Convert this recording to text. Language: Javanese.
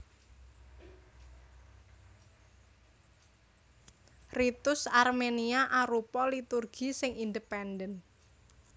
Ritus Armenia arupa liturgi sing independen